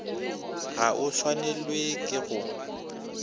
ga o swanelwe ke go